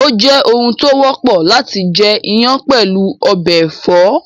Ó jẹ́ oun tó wọ́pọ̀ láti jẹ iyán pẹ̀lú ọbẹ̀ ẹ̀fọ́